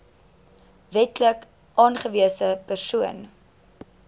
wetlik aangewese persoon